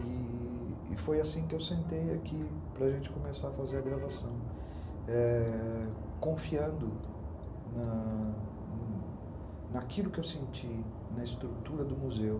E... foi assim que eu sentei aqui para a gente começar a fazer a gravação, é... confiando naquilo que eu senti na estrutura do museu.